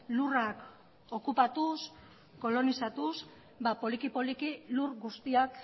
lurrak okupatuz kolonizatuz poliki poliki lur guztiak